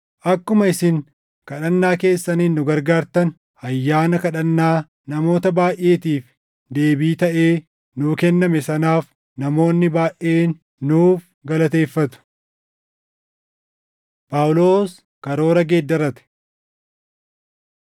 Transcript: Akkuma isin kadhannaa keessaniin nu gargaartan, ayyaana kadhannaa namoota baayʼeetiif deebii taʼee nuu kenname sanaaf namoonni baayʼeen nuuf galateeffatu. Phaawulos Karoora Geeddarate